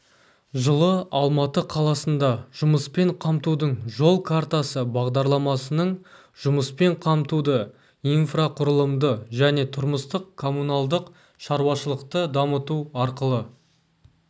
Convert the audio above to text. жылы алматы қаласында жұмыспен қамтудың жол картасы бағдарламасының жұмыспен қамтуды инфрақұрылымды және тұрмыстық-коммуналдық шаруашылықты дамыту арқылы